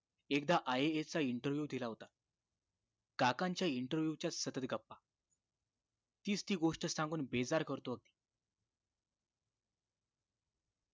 एकदा IAS चा interview दिला होता काकांच्या interview च्या सतत् गप्पा तीच ती `गोष्ट सांगून बेजार करतो अगदी